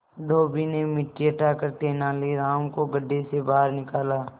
धोबी ने मिट्टी हटाकर तेनालीराम को गड्ढे से बाहर निकाला